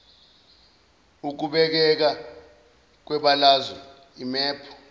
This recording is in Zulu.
ukubukeka kwebalazwe map